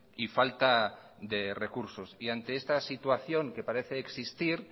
y falta de recursos ante esta situación que parece existir